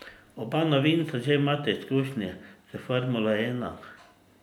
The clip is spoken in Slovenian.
Oba novinca že imata izkušnje s formulo ena.